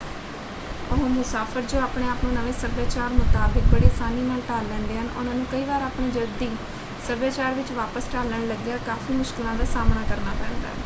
ਉਹ ਮੁਸਾਫ਼ਰ ਜੋ ਆਪਣੇ ਆਪ ਨੂੰ ਨਵੇਂ ਸੱਭਿਆਚਾਰ ਮੁਤਾਬਕ ਬੜੀ ਆਸਾਨੀ ਨਾਲ ਢਾਲ ਲੈਂਦੇ ਹਨ ਉਹਨਾਂ ਨੂੰ ਕਈ ਵਾਰ ਆਪਣੇ ਜੱਦੀ ਸੱਭਿਆਚਾਰ ਵਿੱਚ ਵਾਪਸ ਢਲਣ ਲੱਗਿਆਂ ਕਾਫ਼ੀ ਮੁਸ਼ਕਲਾਂ ਦਾ ਸਾਹਮਣਾ ਕਰਨਾ ਪੈਂਦਾ ਹੈ।